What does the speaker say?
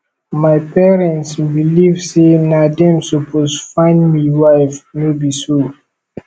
my parents believe sey na dem suppose find me wife no be so